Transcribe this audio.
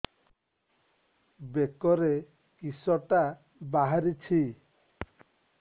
ବେକରେ କିଶଟା ବାହାରିଛି